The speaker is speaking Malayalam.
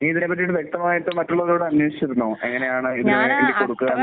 നീ ഇതിനെ പറ്റിയിട്ട് വ്യക്തമായിട്ട് മറ്റുള്ളവരോട് അന്വേഷിച്ചിരുന്നോ? എങ്ങനെയാണ് ഇത് എടുക്കുന്നത്